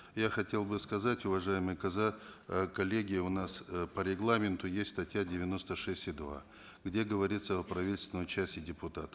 я хотел бы сказать уважаемые э коллеги у нас э по регламенту есть статья девяносто шесть и два где говорится о правительственном часе депутата